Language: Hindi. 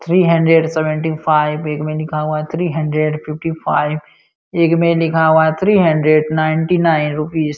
थ्री हंड्रेड सेवंती फाइव एक में लिखा हुआ है थ्री हंड्रेड फिफ्टी फाइव एक में लिखा हुआ है three hundred ninety nine rupees.